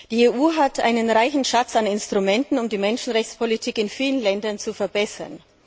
Die EU hat einen reichen Schatz an Instrumenten, um die Menschenrechtspolitik in vielen Ländern zu verbessern.